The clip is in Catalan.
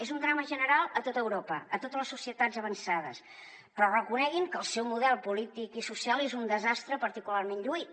és un drama general a tot europa a totes les societats avançades però reconeguin que el seu model polític i social és un desastre particularment lluït